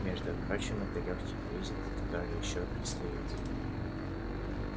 между прочим это очень лёгкий кризис который ещё предстоит